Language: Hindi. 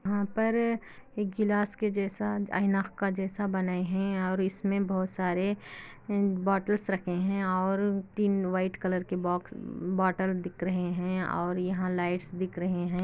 यहाँ पर एक गिलास के जैसा ऐनक के जैसा बनाये है और इसमें बहुत सारे बॉटल्स रखे है और तीन वाइट कलर के बॉक्स बॉटल्स दिख रहे है और यहाँ लाइट्स दिख रहे है।